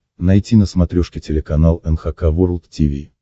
найти на смотрешке телеканал эн эйч кей волд ти ви